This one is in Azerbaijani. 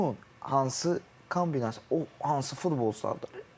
Hücumun hansı kombinasiyası, o hansı futbolçulardandır?